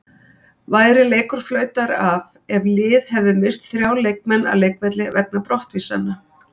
Væri leikur flautaður af ef lið hefði misst þrjá leikmenn af leikvelli vegna brottvísana?